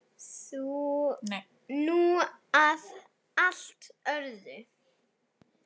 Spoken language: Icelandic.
Nú að allt öðru.